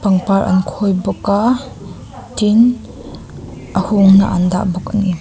pangpar an khawi bawk a tin a hungna an dah bawk ani.